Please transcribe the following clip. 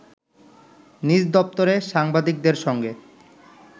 নিজ দপ্তরে সাংবাদিকদের সঙ্গে